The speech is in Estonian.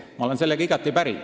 Ma olen sellega igati päri.